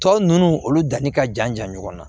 Tɔ ninnu olu danni ka jan jan ɲɔgɔn na